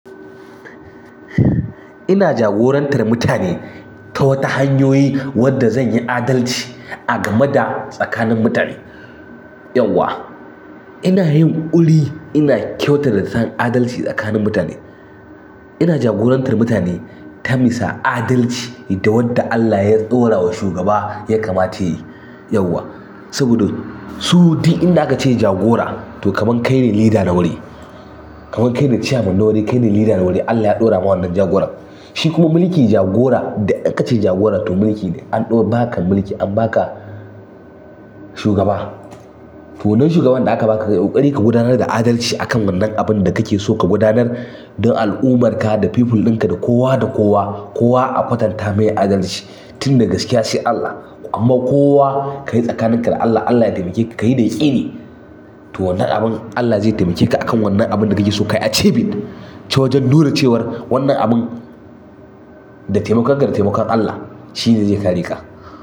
Ina jagorantar mutane ta wata hanyoyi wadda zan yi adalci a gamada tsakanin mutane. Yauwa ina yin uli ina kyautar ta zantan adalci tsakanin mutane. Ina jagorantar mutane ta misa adalci da wadda Allah ya ɗaura wa shugaba ya kamata yayi. Yauwa saboda su di inda a'kace jagora toh kamar kaine leader na wuri kamar kaine chairman na wuri kaine leader na wuri Allah ya ɗaura ma wannan jagoran. Shi kuma mulki jagora da aka ce jagora to mulki an ɗo ba ka mulki an ba ka shugaba. To wannan shugaban da aka ba kayi ƙokari ka gudanar da adalci akan wannan abin da kake so ka gudanar don al'ummar ka da people ɗinka da kowa da kowa, kowa a kwatanta mai adalci tin da gaskiya sai Allah. Kuma kowa kayi tsakanin ka da Allah Allah yatemake ka kayi ya kini to wannan abin Allah zai taimake ka akan wannan abin da ka so ka yi. Archiving ta wajan nuna cewa wannan abun da temakonka da te makwan Allah shine zai kare ka.